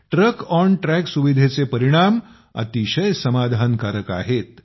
truck on track सुविधेचे परिणाम अतिशय समाधानकारक आहेत